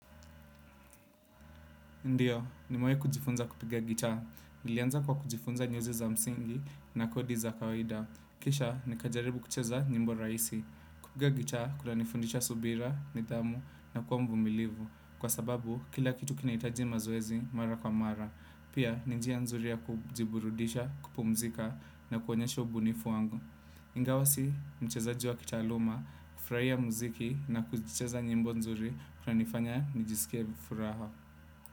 Ndiyo, nimewai kujifunza kupiga gita. Nilianza kwa kujifunza nyuzi za msingi na kodi za kawaida. Kisha, nikajaribu kucheza nyimbo rahisi. Kupiga gitaa, kuna nifundisha subira, nidhamu na kuwa mvumilivu. Kwa sababu, kila kitu kinahitaji mazoezi mara kwa mara. Pia, ni njia nzuri ya kujiburudisha, kupumzika na kuonyesha ubunifu wangu. Ingawa si, mchezaji wa kitaluma, kufurahia mziki na kucheza nyimbo nzuri kunanifanya nijisikie furaha.